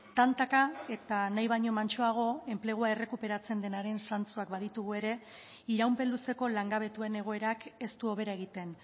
tantaka eta nahi baino mantsoago enplegua errekuperatzen denaren zantzuak baditugu ere iraupen luzeko langabetuen egoerak ez du hobera egiten